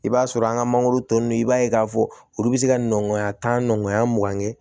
I b'a sɔrɔ an ka mangoro tɔ ninnu i b'a ye k'a fɔ olu bɛ se ka nɔngɔya tan nɔgɔnya mugan kɛ